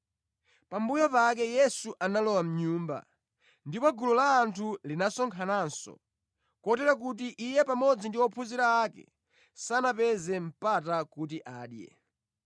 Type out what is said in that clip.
Pambuyo pake Yesu analowa mʼnyumba, ndipo gulu la anthu linasonkhananso, kotero kuti Iye pamodzi ndi ophunzira ake sanapeze mpata kuti adye.